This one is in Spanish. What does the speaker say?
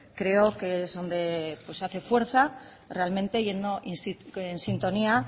creo que es donde pues se hace fuerza realmente y hace sintonía